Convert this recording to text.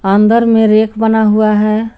अंदर में रैक बना हुआ है।